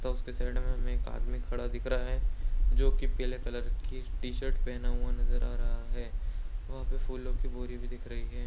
T shirt में हमें एक आदमीं खड़ा दिख रहा है। जो कि पीले कलर की टीशर्ट पहना हुआ नज़र आ रहा है। वहाँ पे फुलों की बोरी भी दिख रही है।